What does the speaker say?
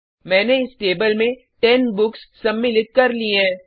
मैंने इस टेबल में 10 बुक्स सम्मिलित कर ली हैं